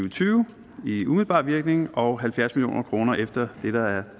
og tyve i umiddelbar virkning og halvfjerds million kroner efter